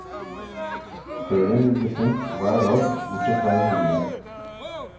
Serien vil bli sendt hver dag bortsett fra i helgene.